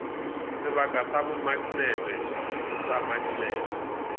sebaka sa bomaknete sa maknete